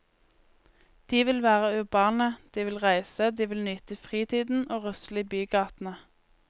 De vil være urbane, de vil reise, de vil nyte fritiden og rusle i bygatene.